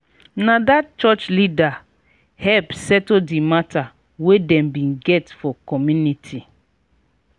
na dat church leader help settle di mata wey dem bin get for community.